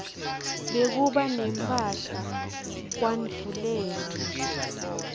bekuba nemphahla kwandvulele